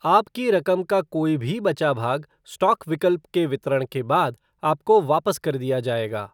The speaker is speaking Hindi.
आपकी रकम का कोई भी बचा भाग स्टॉक विकल्प के वितरण के बाद आपको वापस कर दिया जाएगा।